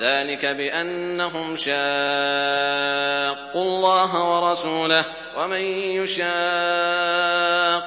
ذَٰلِكَ بِأَنَّهُمْ شَاقُّوا اللَّهَ وَرَسُولَهُ ۖ وَمَن يُشَاقِّ